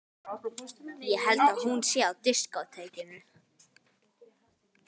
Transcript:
Ég held að hún sé á diskótekinu.